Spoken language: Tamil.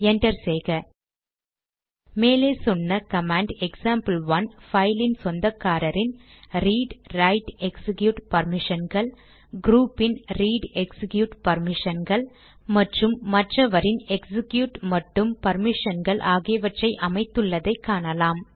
என்டர் செய்க மேலே சொன்ன கமாண்ட் எக்சாம்பிள்1 பைலின் சொந்தக்காரரின் ரீட் ரைட் எக்சிக்யூட் பர்மிஷன்கள் க்ரூபின் ரீட் எக்சிக்யூட் பர்மிஷன்கள் மற்றும் மற்றவரின் எக்சிக்யூட் மட்டும் பர்மிஷன்கள் ஆகியவற்றை அமைத்துள்ளதை காணலாம்